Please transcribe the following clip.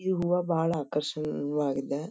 ಈ ಹೂವ ಬಹಳ ಆಕರ್ಶಣೀಯ ಹೂವಾಗಿದ.